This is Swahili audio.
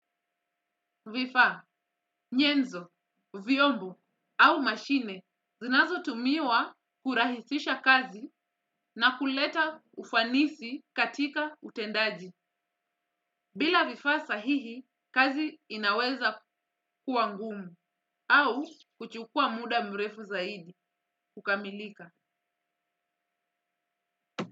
Vifaa, nyenzo, vyombo au mashine zinazotumiwa kurahisisha kazi na kuleta ufanisi katika utendaji. Bila vifaa sahihi kazi inaweza kuwa ngumu au kuchukua muda mrefu zaidi kukamilika.